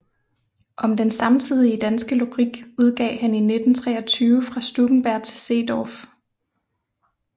Om den samtidige danske lyrik udgav han i 1923 Fra Stuckenberg til Seedorff